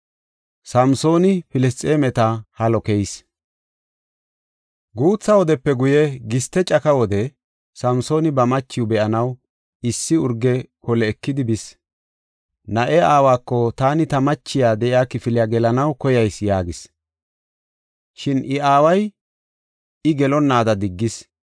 Guutha wodepe guye, giste caka wode Samsooni ba machiw be7anaw issi urge kole ekidi bis. Na7ee aawako, “Taani ta machiya de7iya kifiliya gelanaw koyayis” yaagis. Shin I aaway I gelonnaada diggis.